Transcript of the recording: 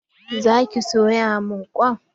Za ki soya min kwai?